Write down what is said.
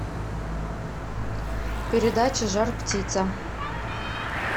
передача жар птица